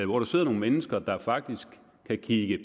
hvor der sidder nogle mennesker der faktisk kan kigge